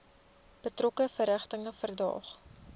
betrokke verrigtinge verdaag